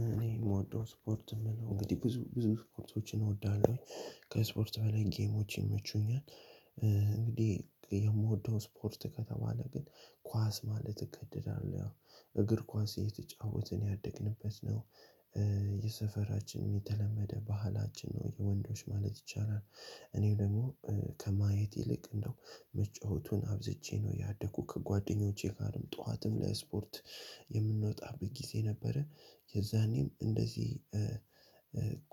እኔ የምወደው ስፖርት የምለው እንግዲህ ብዙ ብዙ ስፖርቶችን እወዳለሁኝ። ከስፖርት በላይ ጌሞች ይመቹኛል። እንግዲህ የምወደው ስፖርት ከተባለ ግን ኳስ ማለት እገደዳለሁ። እግር ኳስ እየተጫወትን ያደግንበት ነው። የሰፈራችን የተለመደ ባህላችን ነው የወንዶች ማለት ይቻላል። እኔ ደሞ ከማየት ይልቅ እንደው መጫወቱን አብዝቼ ነው ያደኩ። ከጓደኞቼ ጋ ጧት ለስፖርት የምንወጣበት ጊዜ ነበረ። የዛኔ እንደዚህ-